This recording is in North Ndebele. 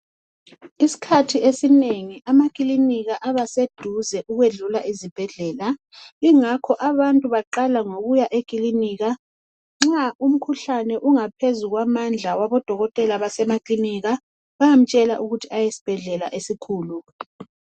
Iskhathi esinengi amaklinika abaseduze ukwedlula ezibhedlela. Ingakho abantu baqaka eklinika nxa umkhuhlane ungaphezu kwamandla abodokotela basemaklinika bayamtshela ukuthi aye esbhedlela esikhulu.